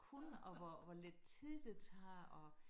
Kunne og hvor hvor lidt tid det tager og